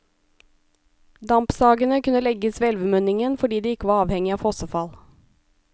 Dampsagene kunne legges ved elvemunningen fordi de ikke var avhengig av fossefall.